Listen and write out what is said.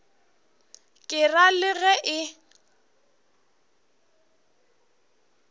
ke ra le ge e